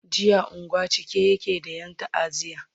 jiya unguwan a cike yake da Yan ta'aziya